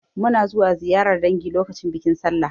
Muna zuwa ziyarar dangi lokacin bikin Sallah.